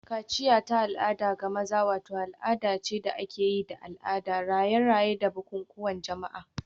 Kaciya ta al'ada ga maza wata al'ada ce da ake yi da al'ada, raye-raye, da bukukuwan jama'a.